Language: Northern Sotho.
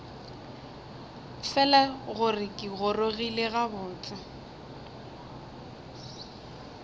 fela gore ke gorogile gabotse